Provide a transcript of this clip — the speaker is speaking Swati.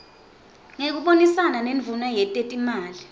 ngekubonisana nendvuna yetetimali